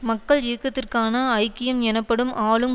மக்கள் இயக்கத்திற்கான ஐக்கியம் எனப்படும் ஆளும்